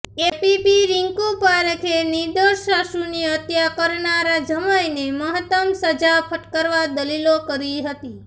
APP Rinku પારેખે નિર્દોષ સાસુની હત્યા કરનારા જમાઇને મહત્તમ સજા ફટકારવા દલીલો કરી હતી